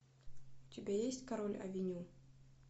у тебя есть король авеню